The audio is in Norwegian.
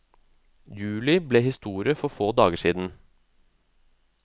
Juli ble historie for få dager siden.